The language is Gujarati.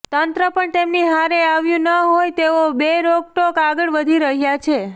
તંત્ર પણ તેમની વ્હારે આવ્યું ન હોય તેઓ બેરોકટોક આગળ વધી રહ્યા છે